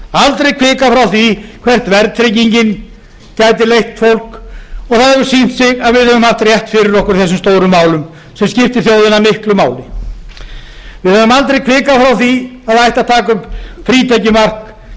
aldrei hvikað frá því hvert verðtryggingin gæti leitt fólk og það hefur sýnt sig að við höfum haft rétt fyrir okkur í þessum stóru málum sem skiptir þjóðina miklu máli við höfum aldrei hvikað frá því að taka upp frítekjumark